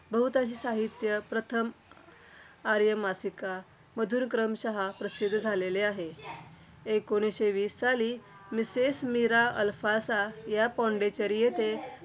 बहुतांशी साहित्य प्रथम आर्य मासिकामधून क्रमश प्रसिद्ध झालेले आहे. इसवी सन एकोणीसशे वीस साली mistress मीरा अल्फासा या पॉडिचेरी येथे